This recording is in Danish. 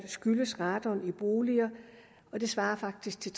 skyldes radon i boliger og det svarer faktisk